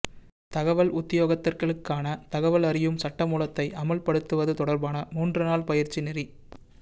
தகவல் உத்தியோகத்தர்களுக்கான தகவல் அறியும் சட்டமூலத்தை அமுல்படுத்துவது தொடர்பான மூன்று நாள் பயிற்சி நெறி